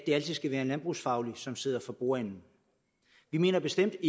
skal være en landbrugsfaglig som sidder for bordenden vi mener bestemt